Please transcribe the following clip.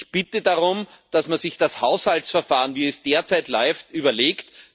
Ich bitte darum, dass man sich das Haushaltsverfahren, wie es derzeit läuft, überlegt.